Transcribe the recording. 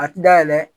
A ti da yɛlɛ